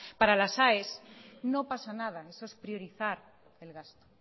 para las aes no pasa nada eso es priorizar el gasto